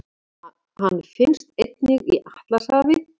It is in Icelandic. Hann finnst einnig í Atlantshafi.